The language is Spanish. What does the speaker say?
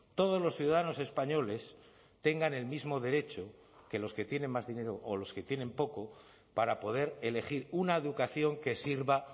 todos los ciudadanos españoles tengan el mismo derecho que los que tienen más dinero o los que tienen poco para poder elegir una educación que sirva